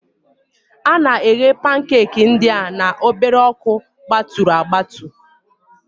A na-eghe pankeeki ndị a na obere ọkụgbaturu agbatu